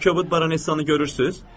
O kobud baronessanı görürsüz?